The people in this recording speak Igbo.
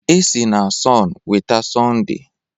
E si na sọn weta Sọnde